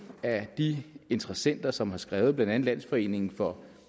af de interessenter som har skrevet blandt andet landsforeningen for